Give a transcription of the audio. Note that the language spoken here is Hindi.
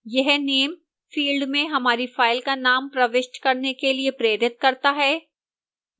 यह name field में हमारी फाइन का name प्रविष्ट करने के लिए प्रेरित करता है